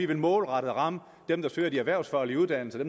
vil målrettet ramme dem der søger de erhvervsfaglige uddannelser og